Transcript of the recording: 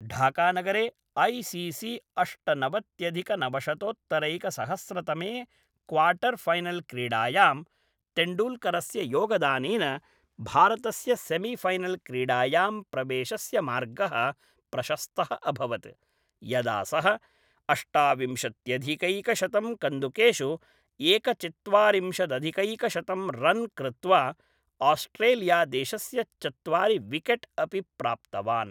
ढाकानगरे I C C अष्टनवत्यधिकनवशतोत्तरैकसहस्रतमे quarter final क्रीडायां, तेण्डूल्करस्य योगदानेन भारतस्य सेमीफैनल्क्रीडायां प्रवेशस्य मार्गः प्रशस्तः अभवत्, यदा सः अष्टाविंशत्यधिकैकशतं कन्दुकेषु एकचत्वारिंशदधिकैकशतं रन् कृत्वा, आस्ट्रेलियादेशस्य चत्वारि विकेट् अपि प्राप्तवान्।